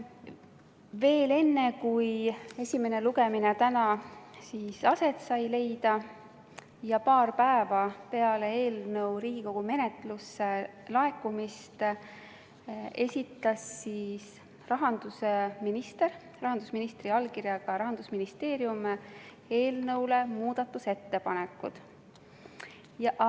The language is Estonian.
Veel enne, kui esimene lugemine täna aset sai leida, täpsemalt paar päeva peale eelnõu Riigikogu menetlusse laekumist esitati rahandusministri allkirjaga Rahandusministeeriumi muudatusettepanekud eelnõu kohta.